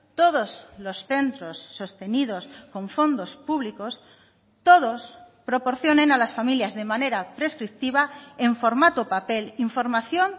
todos los centros sostenidos con fondos públicos todos proporcionen a las familias de manera prescriptiva en formato papel información